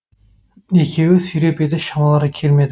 екеуі сүйреп еді шамалары келмеді